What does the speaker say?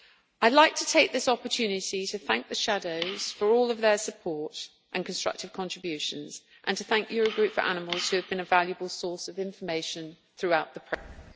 I would like to take this opportunity to thank the shadow for all their support and constructive contributions and to thank Eurogroup for Animals who have been a valuable source of information throughout the process.